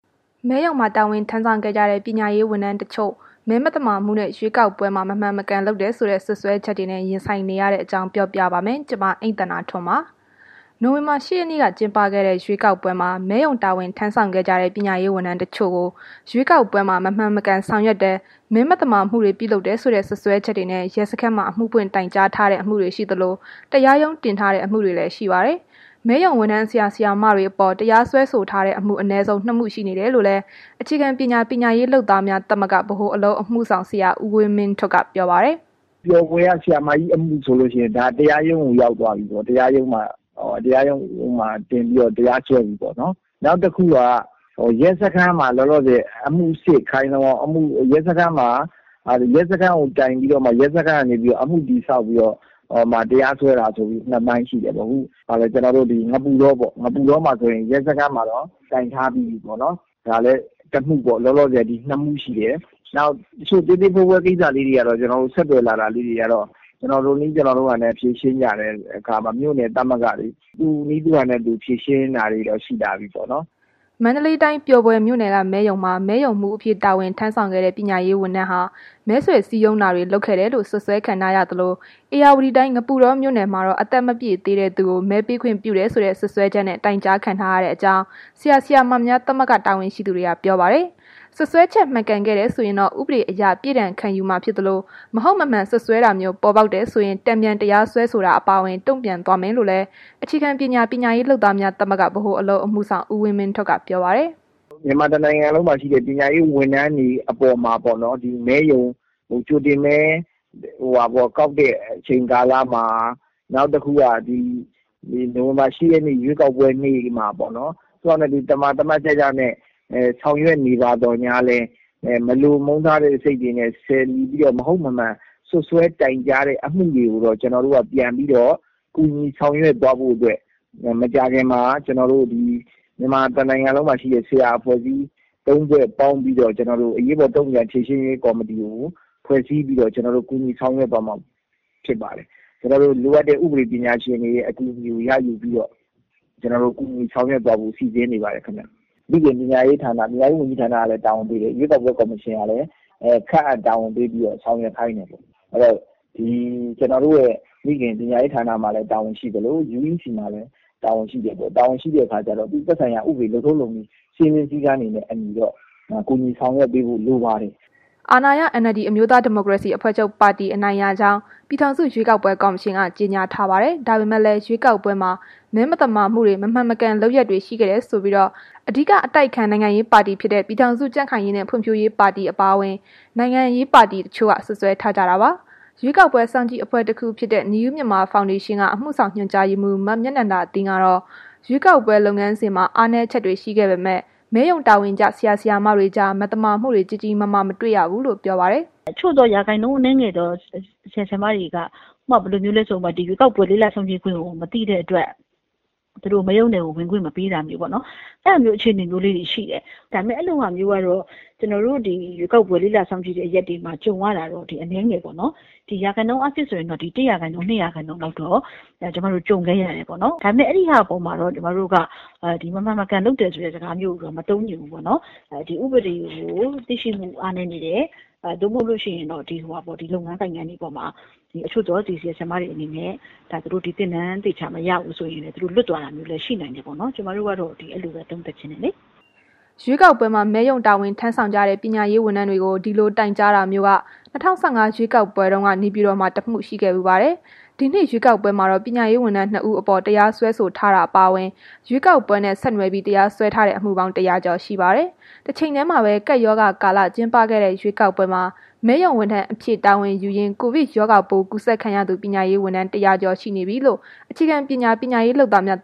မဲရုံမှာ တာဝန်ထမ်းဆောင်ခဲ့ကြတဲ့ ပညာရေးဝန်ထမ်းတချို့ မဲမသမာမှုနဲ့ ရွေးကောက်ပွဲမှာ မမှန်မကန်လုပ်တယ်ဆိုတဲ့ စွပ်စွဲချက်တွေနဲ့ ရင်ဆိုင်နေရတဲ့ အကြောင်းပြောပြပါမယ်။ ဒီအကြောင်း ဗွီအိုအေမြန်မာပိုင်း သတင်းထောက် မအိမ့်သန္တာထွန်းက သတင်းပေးပို့ထားပါတယ်။ နိုဝင်ဘာ ၈ ရက်နေ့က ကျင်းပခဲ့တဲ့ ရွေးကောက်ပွဲမှာ မဲရုံတာဝန်ထမ်းဆောင်ခဲ့ကြတဲ့ ပညာရေးဝန်ထမ်းတစ်ချို့ကို ရွေးကောက်ပွဲမှာ မမှန်မကန်ဆောင်ရွက်တယ်။ မဲမသမာမှုတွေ ပြုလုပ်တယ်ဆိုတဲ့ စွပ်စွဲချက်တွေနဲ့ ရဲစခန်းမှာ အမှုဖွင့်တိုင်ကြားထားတဲ့ အမှုတွေရှိသလို တရားရုံးတင်ထားတဲ့ အမှုတွေလည်း ရှိပါတယ်။ မဲရုံဝန်ထမ်း ဆရာ၊ ဆရာမတွေအပေါ် တရားစွဲဆိုထားတဲ့အမှု အနည်းဆုံး ၂ မှု ရှိနေတယ်လို့လည်း အခြေခံပညာ ပညာရေးလုပ်သားများ သမဂ္ဂက ဗဟိုအလုပ်အမှုဆောင် ဆရာဦးဝင်းမင်းထွဋ်က ပြောပါတယ်။ “ပျော်ဘွယ်က ဆရာမကြီးအမှုဆိုလို့ရှိရင် ဒါ တရားရုံးကို ရောက်သွားပြီပေါ့။ တရားရုံးမှာတင်ပြီး တရားစွဲပြီပေါ့။ နောက်တစ်ခုက လောလောဆယ် ရဲစခန်းမှာ တိုင်ပြီးတော့မှ အမှုတည်ဆောက်ပြီးတော့မှ တရားစွဲတာ ဆိုပြီး ၂ ပိုင်း ရှိတယ်ပေါ့။ ငပုတောပေါ့၊ ငပုတောမှာ ဆိုရင်တော့ ရဲစခန်းမှာတော့ တိုင်ထားပြီးပြီ။ ဒါလည်းတစ်မှုပေါ့၊ လောလောဆယ် ဒီ ၂ မှု ရှိတယ်။ နောက် တစ်ချို့ သေးသေးဖွဲဖွဲကိစ္စလေးတွေကတော့ ဆက်သွယ်လာတာ ကျနော်တို့နည်း ကျနော်တို့ဟန်နဲ့ ဖြေရှင်းကြတယ်။ မြို့နယ်သမဂ္ဂတွေက သူ့နည်းသူဟန်နဲ့ ဖြေရှင်းတာတွေတော့ ရှိတာပေါ့။” မန္တလေးတိုင်း ပျော်ဘွယ်မြို့နယ်က မဲရုံမှာ မဲရုံမှူးအဖြစ် တာဝန်ထမ်းဆောင်ခဲ့တဲ့ ပညာရေးဝန်ထမ်းဟာ မဲဆွယ်စည်းရုံးတာတွေ လုပ်ခဲ့တယ်လို့ စွပ်စွဲခံထားရသလို ဧရာဝတီတိုင်း ငပုတောမြို့နယ်မှာတော့ အသက်မပြည့်သေးတဲ့သူကို မဲပေးခွင့်ပြုတယ်ဆိုတဲ့ စွပ်စွဲချက်နဲ့ တိုင်ကြားခံထားရကြောင်းလည်း ဆရာ၊ ဆရာမများ သမဂ္ဂ တာဝန်ရှိသူတွေက ပြောပါတယ်။ စွပ်စွဲချက် မှန်ခဲ့တယ်ဆိုရင်တော့ ဥပဒေအရ ပြစ်ဒဏ်ခံယူမှာဖြစ်သလို မဟုတ်မမှန်စွပ်စွဲတာမျိုး ပေါ်ပေါက်တယ်ဆိုရင် တန်ပြန်တရားစွဲဆိုတာ အပါအဝင် တုံ့ပြန်သွားမယ်လို့လည်း အခြေခံပညာ ပညာရေးလုပ်သားများ သမဂ္ဂက ဗဟိုအလုပ်အမှုဆောင် ဦးဝင်းမင်းထွဋ်က ပြောပါတယ်။ “မြန်မာတစ်နိုင်ငံလုံးမှာရှိတဲ့ ပညာရေးဝန်ထမ်းတွေ အပေါ်မှာပေါ့နော်။ မဲရုံ ကြိုတင်မဲကောက်တဲ့ အချိန်ကာလမှာ နောက်တစ်ခုက နိုဝင်ဘာ ၈ ရက်နေ့ ရွေးကောက်ပွဲနေ့မှာပေါ့နော်။ သမာသတ်ကျကျနဲ့ ဆောင်ရွက်နေပါသော်ငြားလည်း မလိုမုန်းထားတဲ့စိတ်နဲ့ လီဆယ်ပြီးတော့ မဟုတ်မမှန် စွပ်စွဲတိုင်ကြားတဲ့ အမှုတွေကိုတော့ ကျနော်တို့က ပြန်ပြီးတော့ ကူညီဆောင်ရွက်သွားဖို့အတွက် မကြာခင်မှာ ကျနော်တို့ မြန်မာတစ်နိုင်ငံလုံးမှာ ရှိတဲ့ ဆရာအဖွဲ့ ၃ ဖွဲ့ပေါင်းပြီးတော့ အရေးပေါ်တုံ့ပြန်ဖြေရှင်းရေး ကော်မတီကို ဖွဲ့စည်းပြီးတော့ ကျနော်တို့ ကူညီဆောင်ရွက်သွားမှာဖြစ်ပါတယ်။ ကျနော်တို့ လိုအပ်တဲ့ ဥပဒေပညာရှင်တွေရဲ့ အကူအညီကို ရယူပြီးတော့ ကျနော်တို့ ကူညီဆောင်ရွက်သွားဖို့ စီစဉ်နေပါတယ် ခင်ဗျ။ မိခင်ပညာရေးဝန်ကြီးဌာနကလည်း တာဝန်ပေးတယ်။ ရွေးကောက်ပွဲ ကော်မရှင်ကလည်း ခန့်အပ်တာဝန်ပေးပြီးတော့ ဆောင်ရွက်ခိုင်းတယ်ပေါ့။ အဲ့ဒီတော့ ကျနော်တို့ မိခင် ပညာရေးဌာနမှာလည်း တာဝန်ရှိသလို UEC မှာလည်း တာဝန်ရှိတယ်။ တာဝန်ရှိတဲ့အခါကျတော့ သက်ဆိုင်ရာ လုပ်ထုံးလုပ်နည်း စည်းမျဉ်းစည်းကမ်းတွေနဲ့ အညီတော့ ကူညီဆောင်ရွက်ပေးဖို့ လိုပါတယ်။” အာဏာရ NLD အမျိုးသားဒီမိုကရေစီအဖွဲ့ချုပ် အနိုင်ရကြောင်း ပြည်ထောင်စု ရွေးကောက်ပွဲ ကော်မရှင်ကတော့ ကြေညာထားပါတယ်။ ဒါပေမဲ့လည်း ရွေးကောက်ပွဲမှာ မဲမသမာမှုတွေ မမှန်မကန်လုပ်ရပ်တွေ ရှိခဲ့တယ်ဆိုပြီး အဓိက အတိုက်အခံ နိုင်ငံရေးပါတီ ပြည်ထောင်စု ကြံ့ခိုင်ရေးနဲ့ ဖွံ့ဖြိုးရေးပါတီ အပါအဝင် နိုင်ငံရေးပါတီ တချို့က စွပ်စွဲထားကြတာပါ။ ရွေးကောက်ပွဲစောင်ကြည့်အဖွဲ့တစ်ခုဖြစ်တဲ့ New Myanmar Foundation က အမှုဆောင်ညွှန်ကြားရေးမှုး မမြနန္ဒသင်းကတော့ ရွေးကောက်ပွဲ လုပ်ငန်းစဉ်မှာ အားနည်းချက်တွေ ရှိခဲ့ပေမဲ့ မဲရုံတာဝန်ကျ ဆရာ၊ ဆရာမတွေကြား မသမာမှုတွေ ကြီးကြီးမားမား မတွေ့ခဲ့ရဘူးလို့ ပြောပါတယ်။ “အချို့သော ရာခိုင်နှန်းအနည်းငယ်သော ဆရာဆရာမတွေက ဥပမာ ဘယ်လိုမျိုးလဲဆိုတော့ ဒီရွေးကောက်ပွဲ လေ့လာစောင့်ကြည့်ခွင့်ကို မသိတဲ့အတွက် မဲရုံထဲကို ဝင်ခွင့်မပေးနာမျိုးပေါ့နော်။ အဲ့ဒါမျိုး အခြေအနေမျိုးလေးတွေ ရှိတယ်။ ဒါပေမဲ့ အဲ့ဒီလိုဟာမျိုးကတော့ ရွေးကောက်ပွဲလေ့လာ စောင့်ကြည့်တဲ့ နေရာတွေမှာ ကြုံရတာကတော့ အနည်းငယ်ပဲပေါ့နော်။ ရာခိုင်နှုန်းအားဖြင့်ဆိုရင်တော့ ၁ ရာခိုင်နှုန်း၊ ၂ ရာခိုင်နှုန်းလောက်တော့ ကြုံခဲ့ရတယ်ပေါ့နော်။ ဒါပေမဲ့ အဲ့ဒီဟာ အပေါ်မှာတော့ ကျမတို့က မမှန်မကန်လုပ်တယ်ဆိုတဲ့ အသုံးမျိုးတော့ မသုံးချင်ဘူးပေါ့နှော်။ ဒီဥပဒေကို သိရှိမှု အားနည်းနေတယ်။ မဟုတ်လို့ရှိရင် ဒီလုပ်ငန်းတွေအပေါ်မှာ အချို့သော ဆရာမတွေအနေနဲ့ ဒီသင်တန်းတွေ သေချာမရလို့ တချို့လွတ်သွားတာမျိုးလည်း ရှိနိုင်တဲ့အတွက် ကျမတို့ကတော့ အဲ့ဒီလိုပဲ သုံးသပ်ချင်တယ်။” ရွေးကော်ပွဲမှာ မဲရုံတာဝန်ထမ်းဆောင်ကြတဲ့ ပညာရေးဝန်ထမ်းတွေကို ဒီလိုတိုင်ကြားတာမျိုးက ၂၀၁၅ ရွေးကောက်ပွဲတုန်းက နေပြည်တော်မှာ တစ်မှု ရှိခဲ့ဖူးပါတယ်။ ဒီနှစ်ရွေးကောက်ပွဲမှာတော့ ပညာရေးဝန်ထမ်း ၂ ဦးအပေါ် တရားစွဲဆိုထားတာ အပါအဝင် ရွေးကောက်ပွဲနဲ့ ဆက်နွယ်ပြီး တရားစွဲထားတဲ့ အမှုပေါင်း ၁၀၀ ကျော် ရှိပါတယ်။ တချိန်တည်းမှာပဲ ကပ်ရောဂါကာလ ကျင်းပခဲ့တဲ့ ရွေးကောက်ပွဲမှာ မဲရုံဝန်ထမ်းအဖြစ် တာဝန်ယူရင်း ကိုဗစ်ရောဂါပိုး ကူးစက်ခံရသူ ပညာရေးဝန်ထမ်း ၁၀၀ ကျော်ရှိနေပြီလို့ ခြေခံပညာ ပညာရေးလုပ်သားများ